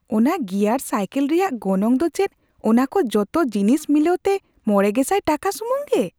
ᱚᱱᱟ gear cycle ᱨᱮᱭᱟᱜ ᱜᱚᱱᱚᱝ ᱫᱚ ᱪᱮᱫ ᱚᱱᱟᱠᱚ ᱡᱚᱛᱚ ᱡᱤᱱᱤᱥ ᱢᱤᱞᱟᱹᱣᱛᱮ ᱕᱐᱐᱐ ᱴᱟᱠᱟ ᱥᱩᱢᱩᱝ ᱜᱮ ?